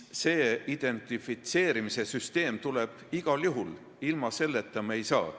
Identifitseerimise süsteem tuleb igal juhul, ilma selleta ei saa.